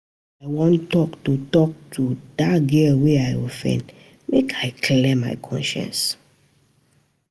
I wan tok to tok to di girl wey I offend, make I clear my conscience.